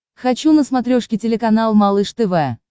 хочу на смотрешке телеканал малыш тв